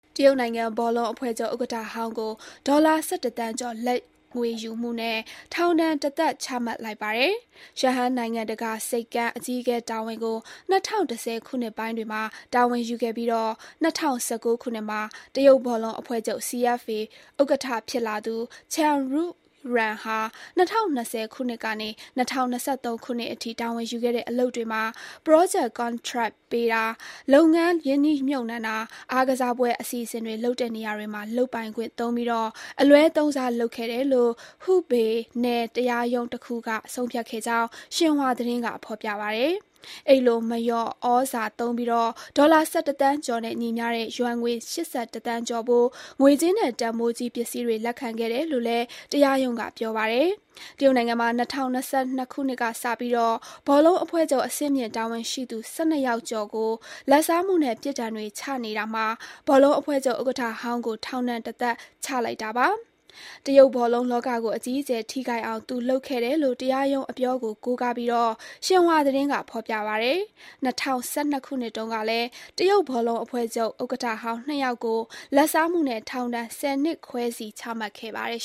တရုတ်နိုင်ငံဘောလုံးအဖွဲ့ချုပ်ဥက္ကဋ္ဌဟောင်းကို ဒေါ်လာ ၁၁ သန်းကျော် လာဘ်ငွေယူမှုနဲ့ ထောင်ဒဏ် တသက် ချမှတ်လိုက်ပါတယ်။ ရှန်ဟိုင်းနိုင်ငံတကာဆိပ်ကမ်း (Shanghai International Port Co 600018.SS) အကြီးအကဲတာဝန်ကို ၂၀၁၀ ခုနှစ်ပိုင်းတွေမှာ တာဝန်ယူခဲ့ပြီး ၂၀၁၉ မှာ တရုတ်ဘောလုံးအဖွဲ့ချုပ် (CFA) ဥက္ကဋ္ဌဖြစ်လာသူ Chen Xuyuan ဟာ ၂၀၂၀ ခုနှစ်ကနေ ၂၀၂၃ ခုနှစ်အထိ တာဝန်ယူခဲ့တဲ့အလုပ်တွေမှာ ပရောဂျက် ကန်ထရိုက်ပေးတာ၊ လုပ်ငန်းရင်းနှီးမြှပ်နှံတာ၊ အားကစားပွဲအစီအစဉ်တွေလုပ်တဲ့နေရာတွေမှာ လုပ်ပိုင်ခွင့်သုံးပြီး အလွဲသုံးစားလုပ်ခဲ့တယ်လို့ Hubei နယ်တရားရုံးတခုက ဆုံးဖြတ်ခဲ့ကြောင်း ဆင်ဟွာသတင်းက ဖော်ပြပါတယ်။ အဲဒီလို မလျော်ဩဇာသုံးပြီး ဒေါ်လာ ၁၁ သန်းကျော်နဲ့ညီမျှတဲ့ ယွမ်ငွေ ၈၁ သန်းကျော်ဖိုး ငွေကြေးနဲ့ တန်ဖိုးကြီးပစ္စည်းတွေလက်ခံခဲ့တယ်လို့ တရားရုံးက ပြောပါတယ်။ တရုတ်နိုင်ငံမှာ ၂၀၂၂ ခုနှစ်ကစပြီး ဘောလုံးအဖွဲ့ချုပ် အဆင့်မြင့်တာဝန်ရှိသူ ၁၂ ယောက်ကျော်ကို လာဘ်စားမှုနဲ့ ပြစ်ဒဏ်တွေချနေတာမှာ ဘောလုံးအဖွဲ့ချုပ်ဥက္ကဋ္ဌဟောင်းကို ထောင်ဒဏ် တသက်ချလိုက်တာပါ။ တရုတ်ဘောလုံးလောကကို အကြီးအကျယ်ထိခိုက်အောင် သူလုပ်ခဲ့တယ်လို့ တရားရုံးအပြောကို ကိုးကားပြီး ဆင်ဟွာသတင်းကဖော်ပြပါတယ်။ ၂၀၁၂ ခုနှစ်တုန်းကလည်း တရုတ်ဘောလုံးအဖွဲ့ချုပ်ဥက္ကဋ္ဌဟောင်း ၂ ယောက်ကို လာဘ်စားမှုနဲ့ ထောင်ဒဏ် ၁၀ နှစ်ခွဲစီ ချမှတ်ခဲ့ပါတယ်